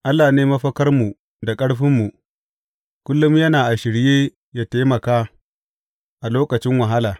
Allah ne mafakarmu da ƙarfinmu, kullum yana a shirye yă taimaka a lokacin wahala.